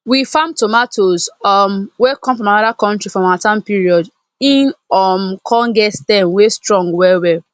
we farm tomatoes um wey come from another country for harmattan period e um come get stem wey strong well well